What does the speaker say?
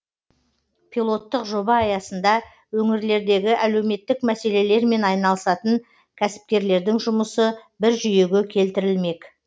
пилоттық жоба аясында өңірлердегі әлеуметтік мәселелермен айналысатын кәсіпкерлердің жұмысы бір жүйеге келтірілмек